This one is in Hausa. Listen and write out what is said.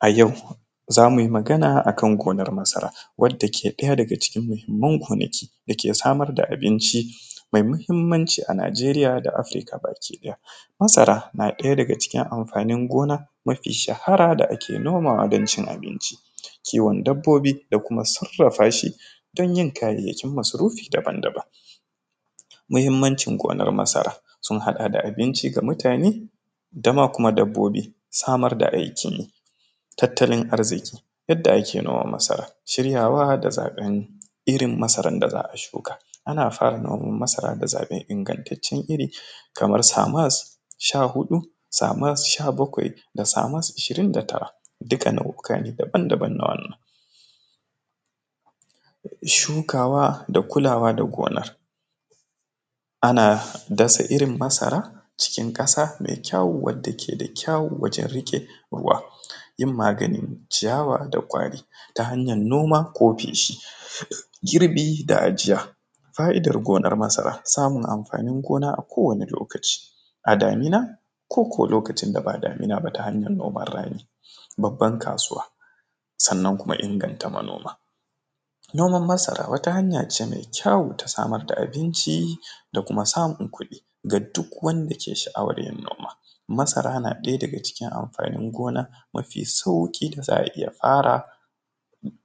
A yau zamu yi magana akan gonar masara wadda ke ɗaya daga cikin muhimmun gonaki dake samar da abnici mai muhimmanci a Nijeriya da Afrika baki ɗaya, masara na ɗaya daga cikin amfanin gona mafi shahara da ake nomawa dan cin abinci, kiwon dabbobi da kuma sarafa shi don yin kayayakin masarufi daban-daban, mahimmancin gonar masara sun haɗa da abinci ga mutane dama kuma dabbobi samar da aikin yi tattalin arziƙi yadda ake noman masara shiryawa da zaben irin masarar irin wanda za a shuka ana fara yin noman masara da zaben ingatacen iri kamar samas sha huɗu samas sha bakwai da samas ashirin da tara duka nau’ika ne daban-daban na wannan shukawa da kulawa da gona, ana dasa irin masara cikin ƙasa mai kyawu wadda ke da kyawu wajen riƙe ruwa yin maganin ciyawa da kwari ta hanyan noma ko feshi girbi da ajiya, fa’idar gonar masara samun amfanin gona a kowani lokaci a damina ko ko lokacin daba damina ba ta hanyar noman rani babban kasuwa, sannan kuma inganta manoma, noman masara wata hanya ce mai kyawu ta samar da abinci da kuma samun kuɗi ga duk wanda ke sha’awar yin noma masara na ɗaya daga cikin amfanin gona mafi sauki da za a iya fara